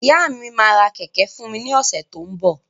Ìyá mi máa ra kẹ̀kẹ́ fún mi ní ọ̀sẹ̀ tó ń bọ̀.